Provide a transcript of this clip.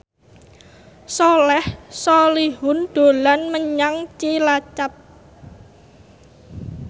Soleh Solihun dolan menyang Cilacap